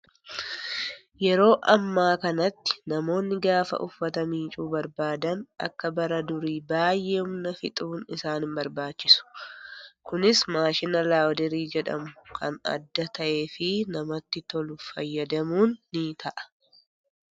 Yeroo ammaa kanatti namoonni gaafa uffata miiccuu barbaadan akka bara durii baay'ee humna fixuun isaan hin barbaachisu. Kunis maashina laawundarii jedhamu kan adda ta'ee fi namatti tolu fayyadamuun ni ta'a.